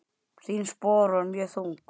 Þín spor voru mjög þung.